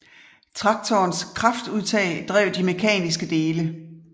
Traktorens kraftudtag drev de mekaniske dele